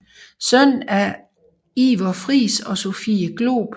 Søn af Iver Friis og Sophie Glob